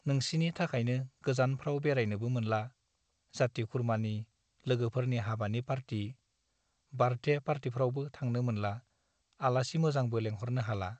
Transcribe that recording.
नोंसिनि थाखायनो गोजानफ्राव बेराय नोबो मोनला , जाति खुरमानि , लोगोफोरनि हाबानि पार्टि , बार्थदे पार्टिफ्रावबो थांनो मोनला , आलासि मोजांबो लेह'रनो हाला ।